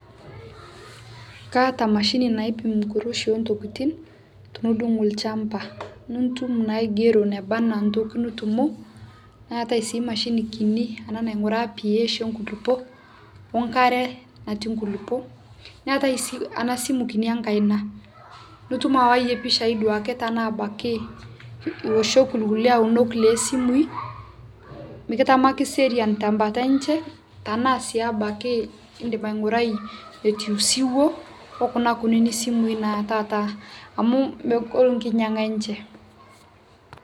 kaata mashini naipim nkuroshii ee ntokitin tinidung lshampa nitum naa aigeroo nebana ntoki nitumo neatai sii mashinii kini anaa nainguraa ph e nkulipo o nkare nati nkulipo naatai sii ana simu kini enkaina nutum awaiyee pichai tanaa abaki iwoshokkii lkulie aunok le simui mikitamaki serian te mbata enshe tanaa sii abaki indim aingurai notuu siwoo oo kuna kunini simui naa taata amu mogol nkinyegaa enshe